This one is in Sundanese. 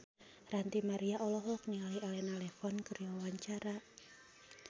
Ranty Maria olohok ningali Elena Levon keur diwawancara